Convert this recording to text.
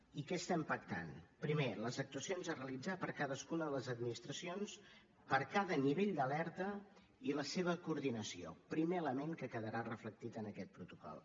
i què estem pactant primer les actuacions a realitzar per cadascuna de les administracions per a cada nivell d’alerta i la seva coordinació primer element que quedarà reflectit en aquest protocol